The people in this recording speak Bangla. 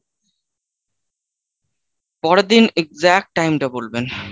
পরের দিন exact time টা বলবেন।